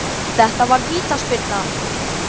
Þetta var vítaspyrna